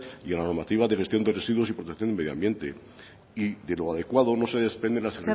y a la normativa de gestión de residuos y protección de medio ambiente y de lo adecuado no se desprende las